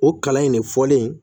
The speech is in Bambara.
O kalan in de fɔlen